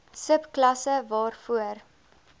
sub klasse waarvoor